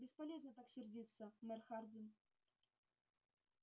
бесполезно так сердиться мэр хардин